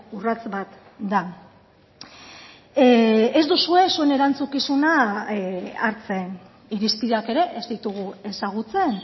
urrats bat da ez duzue zuen erantzukizuna hartzen irizpideak ere ez ditugu ezagutzen